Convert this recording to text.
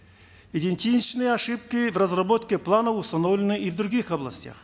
идентичные ошибки в разработке плана установлены и в других областях